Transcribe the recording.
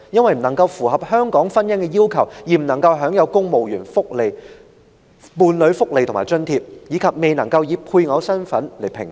他們因不符合香港婚姻的要求而未能享有公務員伴侶福利及津貼，亦不能以配偶身份合併評稅。